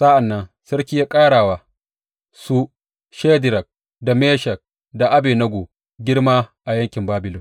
Sa’an nan sarki ya ƙara wa su Shadrak, Meshak da Abednego girma a yankin Babilon.